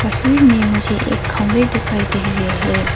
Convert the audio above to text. तस्वीर में मुझे एक खंभे दिखाई दे रहे हैं।